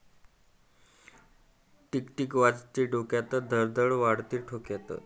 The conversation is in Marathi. टीक टीक वाजते डोक्यात...धडधड वाढते ठोक्यात....